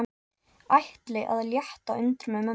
Ætli að létta undir með mömmu.